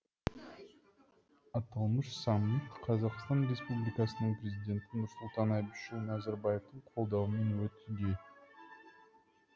аталмыш саммит қазақстан республикасының президенті нұрсұлтан әбішұлы назарбаевтың қолдауымен өтуде